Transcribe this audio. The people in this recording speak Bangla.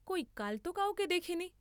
কই কালত কাউকে দেখিনি।